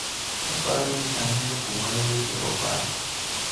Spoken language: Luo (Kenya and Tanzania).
Aparo ni ang`eyo kuma iuse opato.